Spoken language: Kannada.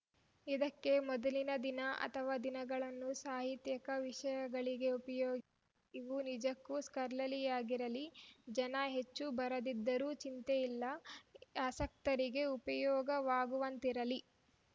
ಇದಕ್ಕೆ ಮೊದಲಿನ ದಿನ ಅಥವಾ ದಿನಗಳನ್ನು ಸಾಹಿತ್ಯಿಕ ವಿಷಯಗಳಿಗೆ ಉಪಯೋಗಿ ಇವು ನಿಜಕ್ಕೂ ಸ್ಕಾಲರ್ಲಿಯಾಗಿರಲಿ ಜನ ಹೆಚ್ಚು ಬರದಿದ್ದರೂ ಚಿಂತಿಲ್ಲ ಆಸಕ್ತರಿಗೆ ಉಪಯೋಗವಾಗುವಂತಿರಲಿ